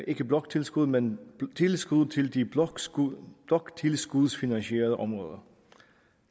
ikke bloktilskud men tilskud til de bloktilskudsfinansierede områder